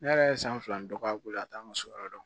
Ne yɛrɛ ye san fila ni dɔ k'a bolo a t'an ka so yɔrɔ dɔn